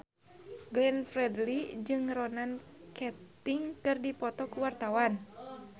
Glenn Fredly jeung Ronan Keating keur dipoto ku wartawan